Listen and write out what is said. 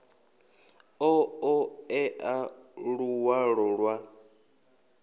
ḓo ṱo ḓea luṅwalo lwa